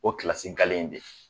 O kilasi galen dɛ